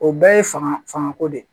O bɛɛ ye fanga fanga ko de ye